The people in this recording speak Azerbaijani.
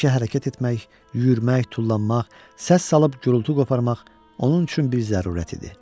Həmişə hərəkət etmək, yürümək, tullanmaq, səs salıb-küy qoparmaq onun üçün bir zərurət idi.